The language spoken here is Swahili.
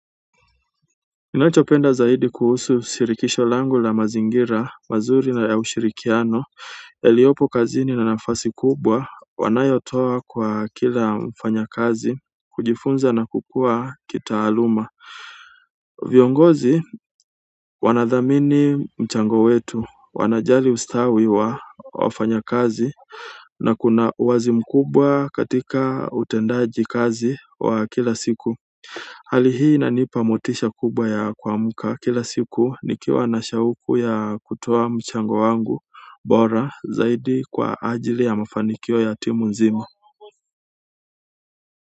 Ninachopenda zaidi kuhusu shirikisho langu ni mazingira mazuri na ya ushirikiano yaliyopo kazini na nafasi kubwa wanayotoa kwa kila mfanyakazi kujifunza na kukua kitaaluma. Viongozi wanathamini mchango wetu, wanajali ustawi wa wafanyakazi na kuna uwazi mkubwa katika utendaji kazi wa kila siku. Hali hii inanipa motisha kubwa ya kuamka kila siku nikiwa na shauku ya kutoa mchango wangu bora zaidi kwa ajili ya mafanikio ya timu nzima.